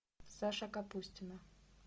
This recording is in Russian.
саша капустина